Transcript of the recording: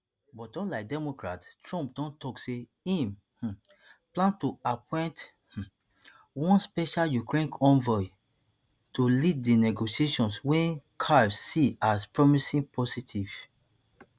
but unlike democrats trump don tok say im um plan to appoint um one special ukraine envoy to lead di negotiations wey kyiv see as promising positive